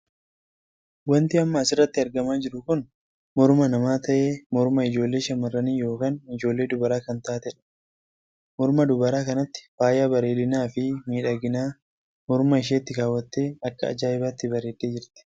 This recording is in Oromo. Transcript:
Wanti amma as irratti argamaa jiru kun morma namaa tahee morma ijoollee shamarranii ykn ijoollee dubaraa kan taateedha. morma dubaraa kanatti faaya bareedinaa fi miidhaginaa morma isheetti kaawwattee akka ajaa'ibaatti bareeddee jirti.